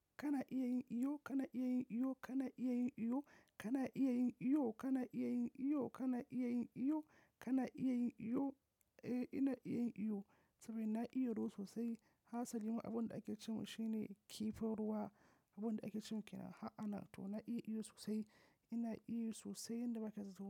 Kana iya yin iyo, kana iya yin iyo, kana iya yin iyo, kana iya yin iyo, kana iya yin iyo, kana iya yin iyo, kana iya yin iyo, eh ina iya yin iyo saboda na iya ruwa sosai. Hasalima abin da ake ce mun shine kifin ruwa, abin da ake ce mun kenan. Ha ana to na iya iyo sosai, ina iyo sosai yanda ba ka zato.